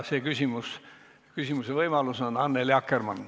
See küsimuse võimalus on Annely Akkermannil.